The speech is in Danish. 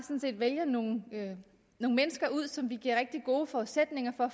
vælger nogle mennesker ud som vi giver rigtig gode forudsætninger for